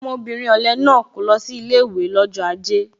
Ọmọbìnrin ọ̀le náà kò lọ sí ilé ìwé lọ́jọ́ aje